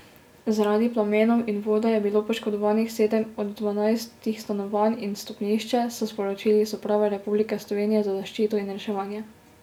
Zaradi plamenov in vode je bilo poškodovanih sedem od dvanajstih stanovanj in stopnišče, so sporočili iz Uprave Republike Slovenije za zaščito in reševanje.